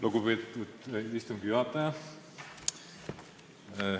Lugupeetud istungi juhtaja!